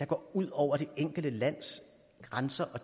går ud over det enkelte lands grænser og